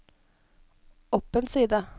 opp en side